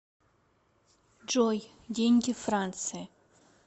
джой деньги франции